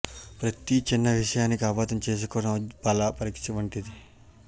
ప్రతి చిన్న విసయానికి అపార్థం చేసుకోవడం ఒక బల పరీక్షవంటిదే